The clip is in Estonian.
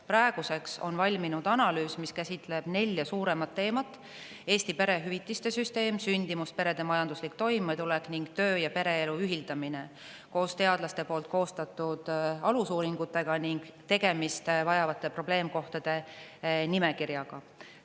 Praeguseks on valminud analüüs, mis käsitleb nelja suuremat teemat: Eesti perehüvitiste süsteem, sündimus, perede majanduslik toimetulek ning töö- ja pereelu ühildamine koos teadlaste koostatud alusuuringutega ning tegelemist vajavate probleemkohtade nimekirjaga.